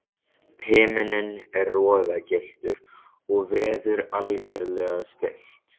Himinninn er roðagylltur og veður algerlega stillt.